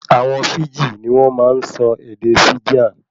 Àwọn Fíjì ní wọn máa ń sọ ède Fijian